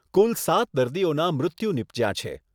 કુલ સાત દર્દીઓનાં મૃત્યુ નિપજ્યાં છે.